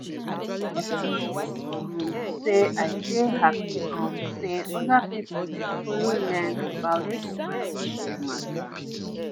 i just wan talk um say i dey happy um say other people dey follow learn about this breastfeeding mata.